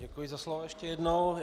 Děkuji za slovo ještě jednou.